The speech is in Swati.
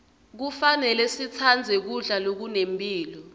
kufanele sitsandze kudla lokunemphilo